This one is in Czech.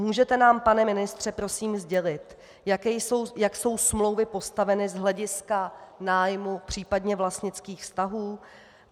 Můžete nám, pane ministře, prosím sdělit, jak jsou smlouvy postaveny z hlediska nájmu, případně vlastnických vztahů?